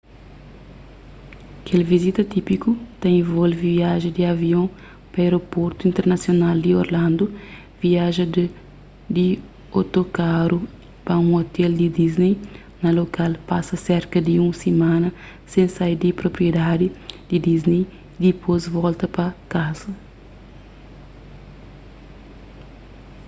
kel vizita típiku ta involve viaja di avion pa aéroportu internasional di orlando viaja di otokaru pa un ôtel di disney na lokal pasa serka di un simana sen sai di propriedaddi di disney y dipôs volta pa kaza